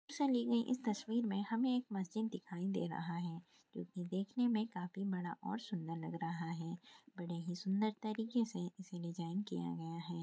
इस तस्वीर मे हमें एक मस्जिद दिखाई दे रही है इसे देखने मे काफी बड़ा और सुंदर लग रहा है बड़े ही सुंदर तरीकेसे इसे डिज़ाइन किया गया है।